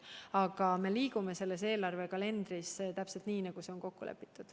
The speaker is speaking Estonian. Aga me liigume selle eelarvekalendri järgi, täpselt nii, nagu on kokku lepitud.